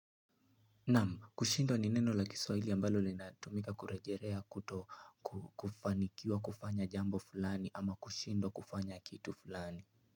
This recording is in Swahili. Naam, kushindwa ni neno la Kiswahili ambalo linatumika kurejelea kuto kufanikiwa kufanya jambo fulani au kushindwa kufanya kitu fulani.